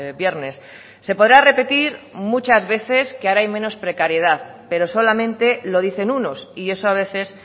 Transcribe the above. viernes se podrá repetir muchas veces que ahora hay menos precariedad pero solamente lo dicen unos y eso a veces